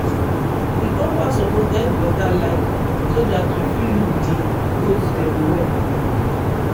the compound suppose get better light so dat you fit look di goat dem well.